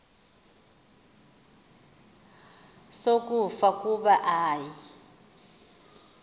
sokufa kuba ayi